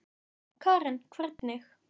Karen: Hvernig?